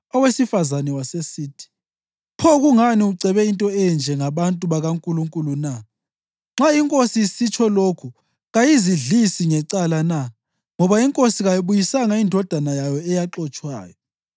Owesifazane wasesithi, “Pho kungani ucebe into enje ngabantu bakaNkulunkulu na? Nxa inkosi isitsho lokhu kayizidlisi ngecala na, ngoba inkosi kayiyibuyisanga indodana yayo eyaxotshwayo.